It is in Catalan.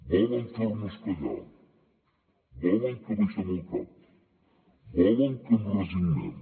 volen fer nos callar volen que abaixem el cap volen que ens resignem